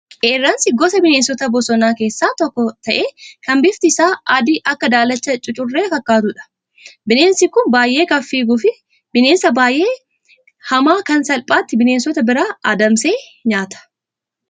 Qeerransi gosa bineensota bosonaa keessaa tokko ta'ee kan bifti isaa adii Akka daalachaa cucurree fakkaatudha. Bineensi kun baay'ee kan fiiguu fi bineensa baay'ee baay'ee hamaa kan salphaatti bineensota biraa adamsee nyaata.